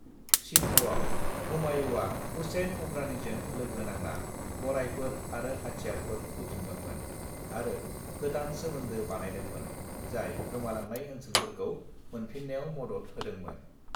सिन्धआव हुमायूंआ हुसैन उमरानीजों लोगो नांना गरायफोर आरो हाथियारफोर जथुमदोंमोन आरो गोदान सोमोन्दो बानायदोंमोन जाय गोमालांनाय ओन्सोलफोरखौ मोनफिन्नायाव मदद होदोंमोन।